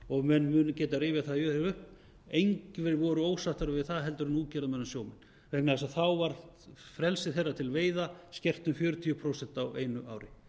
og menn munu geta rifjað það upp að engir voru ósáttari við það en útgerðarmenn og sjómenn vegna þess að þá var frelsi þeir til veiða skert um fjörutíu prósent á einu ári